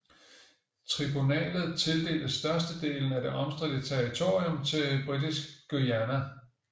Tribunalet tildelte størstedelen af det omstridte territorium til Britisk Guyana